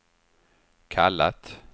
kallat